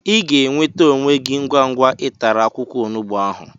Ị ga-enweta onwe gị ngwa ngwa ị tara akwụkwọ onugbu ahụ